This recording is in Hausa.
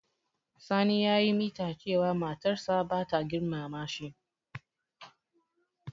Sani ya yi mita cewa matar sa bata girmama shi.